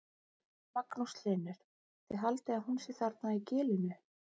Magnús Hlynur: Þið haldið að hún sé þarna í gilinu?